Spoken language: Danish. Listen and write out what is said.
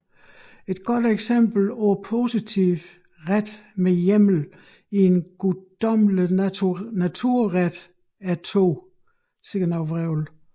Et godt eksempel på positiv ret med hjemmel i en guddommelig naturret er 2